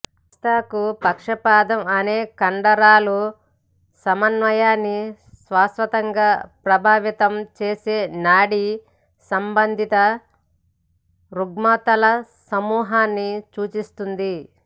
మస్తిష్క పక్షవాదం అనేది కండరాల సమన్వయాన్ని శాశ్వతంగా ప్రభావితం చేసే నాడీ సంబంధిత రుగ్మతల సమూహాన్ని సూచిస్తుంది